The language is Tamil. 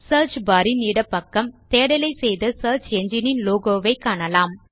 சியர்ச் பார் இன் இடப் பக்கம் தேடலை செய்த சியர்ச் என்ஜின் இன் லோகோ ஐ காணலாம்